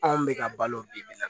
Anw bɛ ka balo bi bi in na